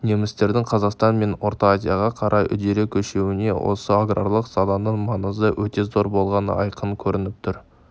немістердің қазақстан мен орта азияға қарай үдере көшуіне осы аграрлық саланың маңызы өте зор болғаны айқын көрініп тұр